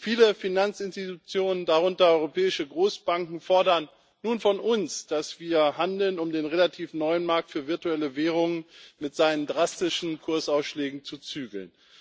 Viele Finanzinstitutionen darunter europäische Großbanken fordern nun von uns, dass wir handeln, um den relativ neuen Markt für virtuelle Währungen mit seinen drastischen Kursausschlägen zu zügeln.